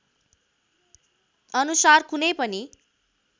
अनुसार कुनै पनि